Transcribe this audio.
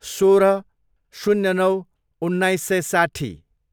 सोह्र, शून्य नौ, उन्नाइस सय साट्ठी